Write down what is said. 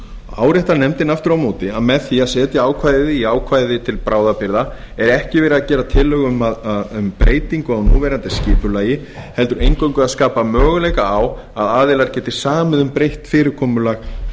áréttar nefndin aftur á móti að með því að setja ákvæðið í ákvæði til bráðabirgða er ekki verið að gera tillögu um breytingu á núverandi skipulagi heldur eingöngu að skapa möguleika á að aðilar geti samið um breytt fyrirkomulag